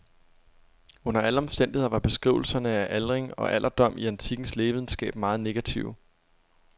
Under alle omstændigheder var beskrivelserne af aldring og alderdom i antikkens lægevidenskab meget negative.